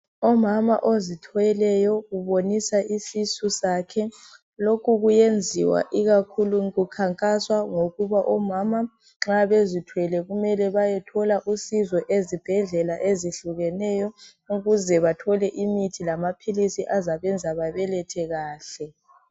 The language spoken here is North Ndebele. Omama ozithweleyo ubonisa isisu sakhe. Lokhu kuyenziwa ikakhulu kukhankaswa ngokuba omama nxa bezithwele kumele bayethola usizo ezibhedlela ezihlukeneyo ukuze bathole imithi lama philisi azabenza babelethe kahle.